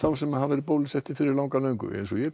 sem hafa verið bólusettir fyrir löngu